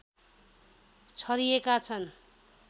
छरिएका छन्